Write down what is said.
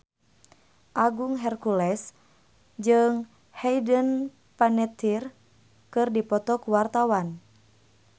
Agung Hercules jeung Hayden Panettiere keur dipoto ku wartawan